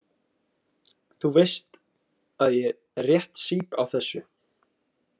Þú veist að ég rétt sýp á þessu.